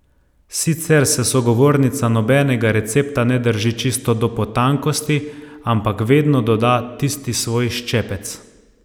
Sicer se sogovornica nobenega recepta ne drži čisto do potankosti, ampak vedno doda tisti svoj ščepec.